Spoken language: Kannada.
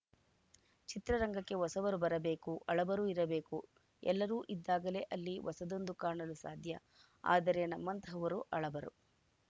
ಚಿತ್ರರಂಗಕ್ಕೆ ಹೊಸಬರು ಬರಬೇಕು ಹಳಬರು ಇರಬೇಕು ಎಲ್ಲರೂ ಇದ್ದಾಗಲೇ ಅಲ್ಲಿ ಹೊಸದೊಂದು ಕಾಣಲು ಸಾಧ್ಯ ಆದರೆ ನಮ್ಮಂತಹವರು ಹಳಬರು